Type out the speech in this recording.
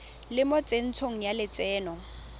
le mo tsentsho ya lotseno